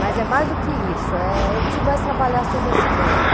Mas é mais do que isso, eh, eu preciso mais trabalhar sobre essa ideia.